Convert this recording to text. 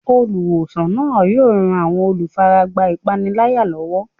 Olùwòsàn náà yóò ran àwọn olùfaragbá ìpániláyà lọ́wọ́.